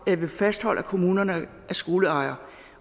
jeg vil fastholde at kommunerne er skoleejere